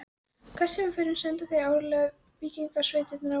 Hvert sem við förum senda þeir áreiðanlega víkingasveitirnar á okkur.